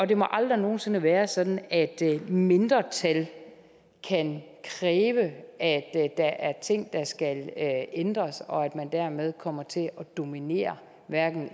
det må aldrig nogen sinde være sådan at et mindretal kan kræve at der er ting der skal ændres og at man dermed kommer til at dominere